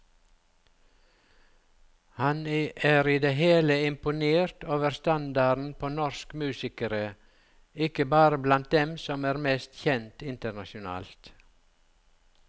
Han er i det hele imponert over standarden på norsk musikere, ikke bare blant dem som er mest kjent internasjonalt.